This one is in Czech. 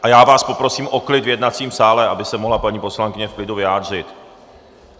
A já vás poprosím o klid v jednacím sále, aby se mohla paní poslankyně v klidu vyjádřit.